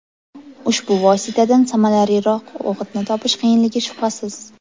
Ushbu vositadan samaraliroq o‘g‘itni topish qiyinligi shubhasiz.